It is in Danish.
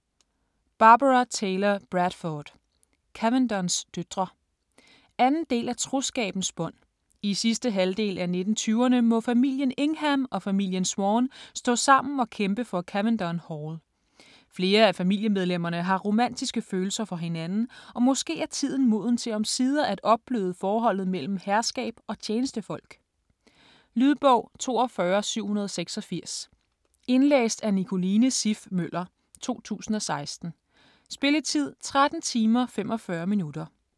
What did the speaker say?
Bradford, Barbara Taylor: Cavendons døtre 2. del af Troskabens bånd. I sidste halvdel af 1920'erne må familien Ingham og familien Swann stå sammen og kæmpe for Cavendon Hall. Flere af familiemedlemmerne har romantiske følelser for hinanden, og måske er tiden moden til omsider at opbløde forholdet mellem herskab og tjenestefolk? Lydbog 42786 Indlæst af Nicoline Siff Møller, 2016. Spilletid: 13 timer, 45 minutter.